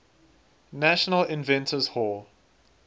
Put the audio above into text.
national inventors hall